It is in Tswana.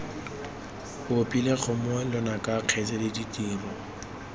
opile kgomo lonaka kgaitsadi ditiro